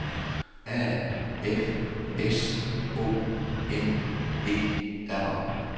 A F S O N E R